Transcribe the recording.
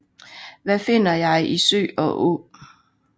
Hvad finder jeg i sø og å